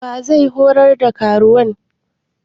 Wa zai horar da karuwan?